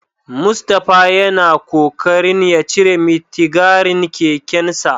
Mustapha yana kokarin ya cire mitigarin kekensa.